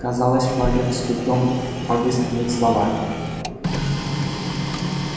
казалось багерт с трудом подыскивает слова